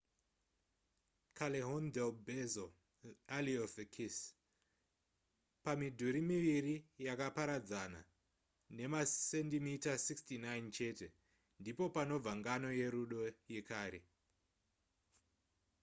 callejon del beso alley of the kiss. pamidhuri miviri yakaparadzana nemasendimita 69 chete ndipo panobvira ngano yerudo yekare